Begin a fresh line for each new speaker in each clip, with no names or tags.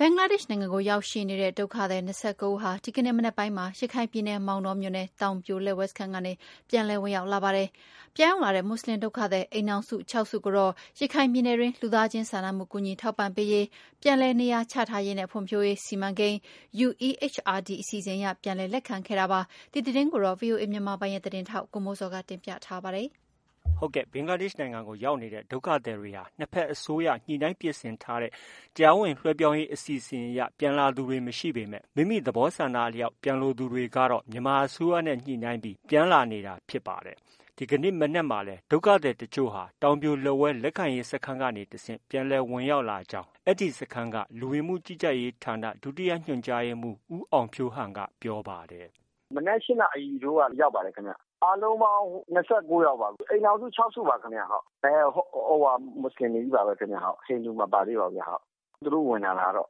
ဘင်္ဂလားဒေ့ရှ်နိုင်ငံကို ရောက်ရှိနေတဲ့ ဒုက္ခသည် ၂၉ဦးဟာ ဒီကနေ့ မနက်ပိုင်းမှာ ရခိုင်ပြည်နယ် မောင်တောမြို့နယ် တောင်ပြိုလက်ဝဲစခန်းကနေ ပြန်လည်ဝင်ရောက်လာပါတယ်။ ြပန်ရောက်လာတဲ့ မွတ်ဆလင် ဒုက္ခသည် အိမ်ထောင်စု ၆ စု ကိုတော့ ရခိုင်ပြည်နယ်အတွင်း လူသားချင်းစာနာမှုကူညီထောက်ပံ့ပေးရေး၊ ပြန်လည်နေရာချ ထားရေးနဲ့ ဖွံ့ဖြိုးရေးစီမံကိန်း အစီအစဉ်အရ ပြန်လည် လက်ခံခဲ့တာဖြစ်ပါတယ်။ ဒီသတင်းကို ဗွီအိုအေမြန်မာပိုင်းရဲ့ သတင်းထောက် ကိုမိုးဇော်က တင်ပြထားပါတယ်။ ဘင်္ဂလားဒေ့ရှ်နိုင်ငံကို ရောက်နေတဲ့ ဒုက္ခသည်တွေဟာ နှစ်ဘက်အစိုးရညှိနှိုင်းပြင်ဆင်ခဲ့တဲ့ တရားဝင်လွဲှပြောင်းရေးအစီအစဉ်အရ ပြန်လာသူတွေ မရှိပေမဲ့ မိမိသဘောဆန္ဒအလျောက် ပြန်လိုသူတွေ ကတော့ မြန်မာအစိုးရနဲ့ ညှိနှိုင်းပြီး ပြန်လာနေတာဖြစ်ပါတယ်။ ဒီကနေ့ မနက်မှာလည်း ဒုက္ခသည်အချို့ဟာ တောင်ပြိုလက်ဝဲလက်ခံရေး စခန်းကနေတဆင့် ပြန်လည် ဝင်ရောက်လာကြောင်း အဲဒီစခန်းက လူဝင်မှုကြီးကြပ်ရေးဌာန ဒုညွှန်ကြားရေးမှုး ဦးအောင်ဖြိုးဟန်က ပြောပါတယ်။
“မနက် ၈နာရီထိုးက ရောက်ပါတယ်ခင်ဗျ။ အားလုံးပေါင်း လူ ၂၉ယောက်ပါ၊ အိမ်ထောင်စု ၆စုပါခင်ဗျ။ သူတို့ ဝင်လာတာကတော့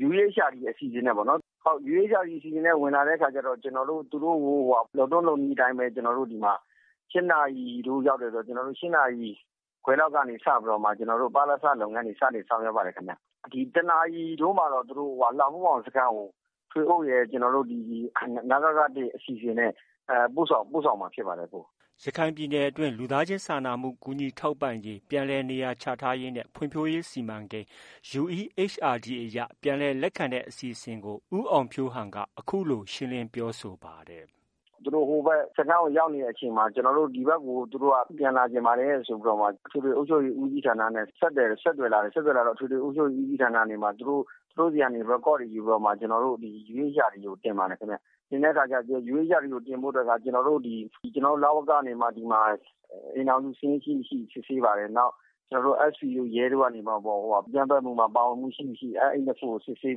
။ UEHRD အစီအစဉ်နဲ့ ပေါ့နော်။ UEHRD အစီအစဉ်နဲ့ ဝင်လာတဲ့အခါကျတော့ ကျနော်တို့ သူတို့ကို လုပ်ထုံးလုပ်နည်းအတိုင်းပဲ ၈နာရီထိုးရောက်တယ်ဆိုတော့ ၈နာရီခွဲလောက်နေစပြီးတော့မှ ကျနော်တို့ ပလစ လုပ်ငန်းတွေ စတင်ဆောင်ရွက်ပါတယ်ခင်ဗျ။ ၁နာရီထိုးမှာတော့ သူတို့ လှဖိုးခေါင်စခန်းကို ဒီက ထွေအုပ်ရယ်၊ နစက ၁အစီအစဉ်နဲ့ ပို့ဆောင်မှာ ဖြစ်ပါတယ်။
” ရခိုင်ပြည်နယ်အတွင်း လူသားချင်းစာနာမှုကူညီထောက်ပံ့ပေးရေး၊ ပြန်လည်နေရာချ ထားရေးနဲ့ ဖွံ့ဖြိုးရေး စီမံကိန်း အရ ပြန်လည် လက်ခံတဲ့ အစီအစဉ်ကို ဦးအောင်ဖြိုးဟန်က အခုလို ရှင်းလင်းပြောဆို ပါတယ်။
“ သူတို့ ဟိုဘက် စခန်းကို ရောက်နေတဲ့အချိန်မှာ ဒီဘက်ကို သူတို့က ပြန်လာချင်ပါတယ်ဆိုပြီးမှ အထွေထွေအုပ်ချုပ်ရေးဦးစီးဌာနနဲ့ ဆက်သွယ်လာတယ်။ ဆက်သွယ်လာတော့ အထွေထွေအုပ်ချုပ်ရေး ဦးစီးဌာနကနေပြီးတော့မှ သူတို့ဆီက Record တွေယူပြီးမှာ UEHRD ကို တင်ပါတယ်။ တင်တဲ့အခါကျ UEHRD ကို တင်ဖို့ အတွက်က ကျနော်တို့ ဒီမှာ အိမ်ထောင်စု စာရင်း ရှိမရှိ စစ်ဆေးပါတယ်။ SB တို့ ရဲတို့ကနေပြီး အကြမ်းဖက်မှုမှာ ပါဝင်မှုရှိမရှိ ကို စစ်ဆေး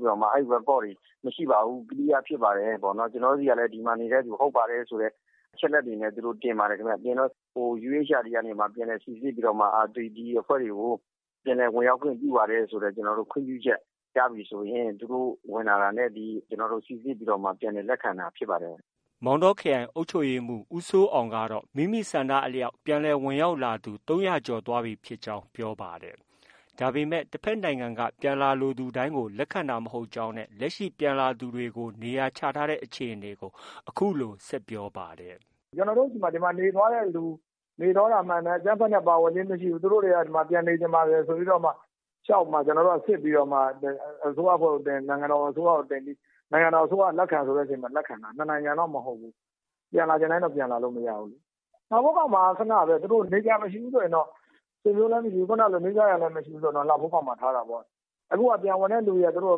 ပြီးမှ အဲဒီ Record တွေ မရှိပါဘူး။ clear ဖြစ်ပါတယ်။ ကျနော်တို့ ဆီကလည်း ဒီမှာ နေတဲ့သူ ဟုတ်ပါတယ်ဆိုတဲ့ အချက်အလက်တွေနဲ့ တင်ပါတယ်။ တင်တော့ UEHRD ကနေ စိစစ်ပြီးတော့မှ ဒီအဖွဲ့တွေကို ပြန်လည်ဝင်ရောက်ခွင့်ပြုပါတယ်ဆိုတဲ့ ခွင့်ပြုချက် ရပြီဆိုရင် သူတို့ ဝင်လာတာနဲ့ ကျနော်တို့ စိစစ်ပြီးတော့မှ ပြန်လည်လက်ခံတာဖြစ်ပါတယ်။
” မောင်တောခရိုင်အုပ်ချုပ်ရေးမှုး ဦးစိုးအောင်ကတော့ မိမိဆန္ဒအလျောက်ပြန်လည် ဝင်ရောက်လာသူ ၃၀၀ကျော်သွားပြီဖြစ်ကြောင်း ပြောပါတယ်။ ဒါပေမဲ့ တဘက်နိုင်ငံက ပြန်လာလိုသူတိုင်းကို လက်ခံတာမဟုတ်ကြောင်းနဲ့ လက်ရှိ ပြန်လာသူတွေကို နေရာချထားတဲ့ အခြေအနေကို အခုလို ဆက်ပြောပါတယ်။
“ ကျနော်တို့ဆီမှာ ဒီမှာ နေသွားတဲ့သူ၊ နေသွားတာမှန်တယ်။ အကြမ်းဖက်နဲ့ ပါဝင်ခြင်းမရှိဘူး။ သူတို့တွေက ဒီမှာ ပြန်နေချင်ပါတယ်ဆိုပြီးတော့မှ လျှောက်မှ ကျနော်တို့က စစ်ပြီးတော့မှ အစိုးရအဖွဲ့ကို တင်၊ နိုင်ငံတော် အစိုးရကို တင်ပြီး နိုင်ငံတော်အစိုးရက လက်ခံဆိုမှ လက်ခံတာ။ နှစ်နိုင်ငံတော့ မဟုတ်ဘူး။ ပြန်လာချင် တိုင်းတော့ ပြန်လာလို့ မရဘူးလေ။ လှဖိုးခေါင်မှာက ခနပဲလေ။ သူတို့ နေစရာမရှိဘူးဆိုရင်တော့ ဆွေမျိုးလည်းမရှိဘူး။ နီးစပ်ရာလည်း မရှိဘူးဆိုရင်တော့ လှဖိုးခေါင်မှာ ထားတာပေါ့။ အခု ပြန်ဝင်တဲ့သူတွေက သူတို့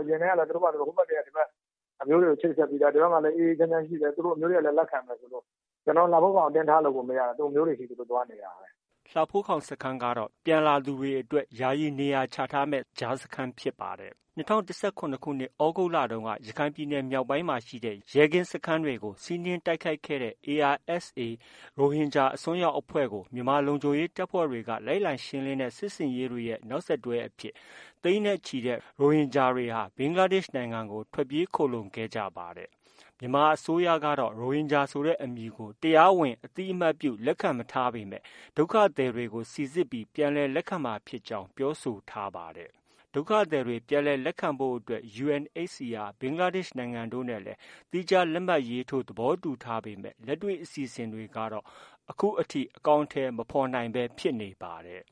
အရင်တည်းကလည်း ဒီဘက် အမျိုးတွေကို ချိတ်ဆက်ပြီးသား၊ ဒီဘက်မှာလည်း အေးအေးချမ်းချမ်း ရှိတယ်။ သူတို့ အမျိုးတွေကလည်း လက်ခံမယ်ဆိုလို့ ကျနော်တို့ လှဖိုးခေါင်ကို အတင်းထားလို့ကို မရတာ သူတို့ အမျိုးတွေဆီ သူတို့ သွားနေတာပဲ။”
လှဖိုးခေါင်ကတော့ ပြန်လာသူတွေအတွက် ယာယီနေရာချထားမယ့် ကြားစခန်းဖြစ်ပါတယ်။ ၂၀၁၇ သြဂုတ်လတုန်းက ရခိုင်ပြည်နယ် မြောက်ပိုင်းမှာရှိတဲ့ ရဲကင်းစခန်းတွေကို စီးနင်းတိုက်ခိုက်ခဲ့တဲ့ ARSA ရိုဟင်ဂျာ အစွန်းရောက်အဖွဲ့ကို မြန်မာလုံခြုံရေးတပ်ဖွဲ့တွေ လိုက်လံရှင်းလင်းတဲ့ စစ်ဆင်ရေးတွေရဲ့ နောက်ဆက်တွဲအဖြစ် သိန်းနဲ့ချီတဲ့ ရိုဟင်ဂျာတွေ ဘင်္ဂလားဒေ့ရှ် နိုင်ငံကို ထွက်ပြေးခိုလှုံခဲ့ကြတာပါ။ မြန်မာအစိုးရကတော့ ရိုဟင်ဂျာဆိုတဲ့ အမည်ကို တရားဝင် အသိအမှတ်ပြု လက်ခံမထားပေမဲ့ ဒုက္ခသည်တွေကို စိစစ်ပြီး ပြန်လည် လက်ခံမှာဖြစ်ကြောင်း ပြောဆိုထားပါတယ်။ ဒုက္ခသည်တွေ ပြန်လည်လက်ခံဖို့အတွက် UNHCR ဘင်္ဂလားဒေ့ရှ် နိုင်ငံတို့နဲ့လည်း သီးခြားလက်မှတ်ရေးထိုး သဘောတူထားပေမဲ့ လက်တွေ့ အစီအစဉ်တွေကတော့ အခုအထိ အကောင်အထည် မဖော်နိုင်ပဲ ဖြစ်နေပါတယ်